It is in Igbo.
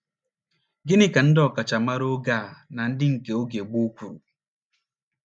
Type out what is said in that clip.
Gịnị ka ndị ọkachamara oge a na ndị nke oge gboo kwuru?